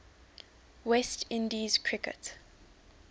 west indies cricket